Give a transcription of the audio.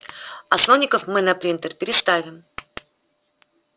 а слоников мы на принтер переставим